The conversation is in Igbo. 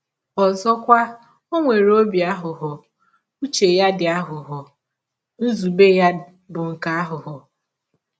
Ọzọkwa, ọ nwere ọbi aghụghọ — ụche ya dị “ aghụghọ, ” nzụbe ya bụ “ nke aghụghọ. ”